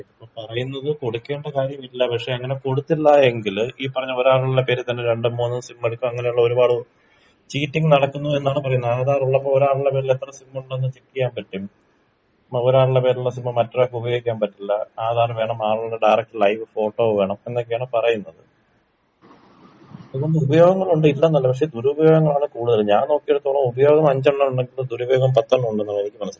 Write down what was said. ഇതിപ്പം പറയുന്നത് കൊടുക്കേണ്ട കാര്യമില്ല പക്ഷെ അങ്ങനെ കൊടുത്തില്ലാ എങ്കില് ഈ പറഞ്ഞ ഒരാളുള്ള പേരിൽ തന്നെ രണ്ടും മൂന്നും സിമ്മെടുക്കാ അങ്ങനെ ഉള്ള ഒരുപാട് ചീറ്റിംഗ് നടക്കുന്നെതെന്നാണ് പറയുന്നെ ആധാറുള്ളപ്പൊ ഒരാളുടെ പേരിൽ എത്ര സിമ്മുണ്ടെന്ന് ചെക്കീയാൻ പറ്റും അത് പോലെ ഒരാളുടെ പേരിലുള്ള സിമ്മ് മറ്റൊരാൾക്ക് ഉപയോഗിക്കാൻ പറ്റില്ല ആധാറും വേണം ആളുടെ ഡയറക്റ്റ് ലൈവ് ഫോട്ടോ വേണം എന്നൊക്ക ആണ് പറയുന്നത് ഇതിന് ഉപയോഗങ്ങളുണ്ട് ഇല്ലെന്നല്ല പക്ഷെ ദുരുപയോഗങ്ങളാണ് കൂടുതലും ഞാൻ നോക്കിയടത്തോളം ഉപയോഗം അഞ്ചെണ്ണമുണ്ടെങ്കി ദുരുപയോഗം പത്തെണ്ണണ്ട് എനിക്ക് മനസ്സിലായത്.